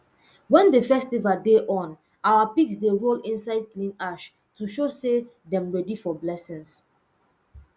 wen the festival dey on our pigs dey roll inside clean ash to show say dem ready for blessings